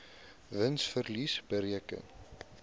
wins verlies bereken